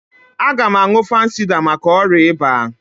Aga m aṅụ fansida maka ọrịa ịba.